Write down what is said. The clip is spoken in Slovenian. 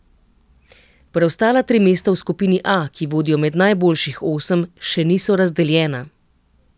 Preostala tri mesta v skupini A, ki vodijo med najboljših osem, še niso razdeljena.